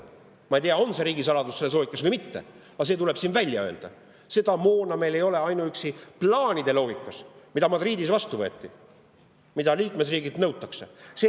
Ma ei tea, on see riigisaladus selles loogikas või mitte, aga see tuleb siin välja öelda: seda moona meil ei ole ainuüksi plaanide loogikas, mis Madridis vastu võeti ja mida liikmesriigilt nõutakse.